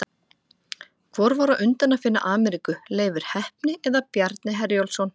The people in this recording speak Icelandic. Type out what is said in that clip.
Hvor var á undan að finna Ameríku, Leifur heppni eða Bjarni Herjólfsson?